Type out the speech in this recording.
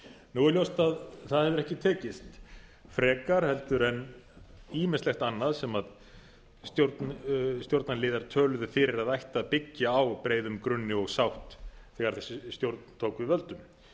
nú er ljóst að það hefur ekki tekist frekar en ýmislegt annað sem stjórnarliðar töluðu fyrir að ætti að byggja á breiðum grunni og sátt þegar þessi stjórn tók við völdum